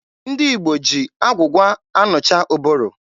Ndị Igbo ji agwụgwa anụcha ụbụrụ.